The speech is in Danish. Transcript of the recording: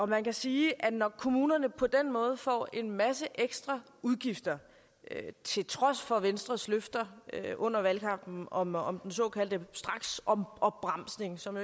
man kan sige at når kommunerne på den måde får en masse ekstra udgifter til trods for venstres løfter under valgkampen om om den såkaldte straksopbremsning som